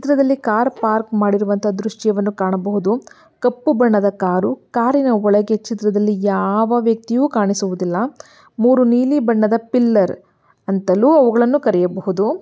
ಈ ಚಿತ್ರದಲ್ಲಿ car park ಮಾಡಿರೋವಂತಹ ದೃಶ್ಯವನ್ನು ಕಾಣಬಹುದು. ಕಪ್ಪು ಬಣ್ಣದ ಕಾರು ಕಾರಿನ ಒಳಗೆ ಚಿತ್ರದಲ್ಲಿ ಯಾವ ವ್ಯಕ್ತಿಯು ಕಾಣಿಸುವುದಿಲ್ಲ. ಮೂರು ನೀಲಿ ಬಣ್ಣದ ಪಿಲ್ಲರ್ ಅಂತಲೂ ಅವುಗಳನ್ನು ಕರಿಯಬಹುದು.